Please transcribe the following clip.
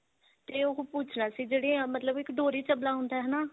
ਤੇ ਉਹ ਪੁੱਛਨਾ ਸੀ ਜਿਹੜੀ ਮਤਲਬ ਇੱਕ ਡੋਰੀ ਸਬਲਾ ਹੁੰਦਾ ਹਨਾ